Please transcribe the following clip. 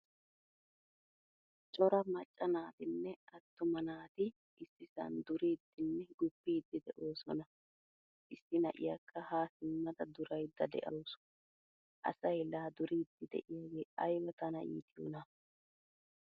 Cora macca naatinne attuma naati issisan duridinne guppidi deosona. Issi na'iyakka ha simmada duraydda de'awusu. Asay la duridi deiyage ayba tana iitiyona.